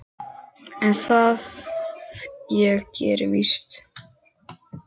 en það ég geri víst.